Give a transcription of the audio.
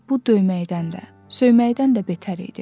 bu döyməkdən də, söyməkdən də betər idi.